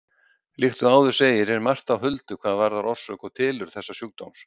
Líkt og áður segir er margt á huldu hvað varðar orsök og tilurð þessa sjúkdóms.